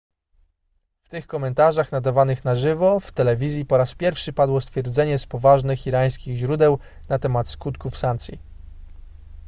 w tych komentarzach nadawanych na żywo w telewizji po raz pierwszy padło stwierdzenie z poważnych irańskich źródeł na temat skutków sankcji